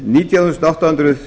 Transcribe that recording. nítján þúsund átta hundruð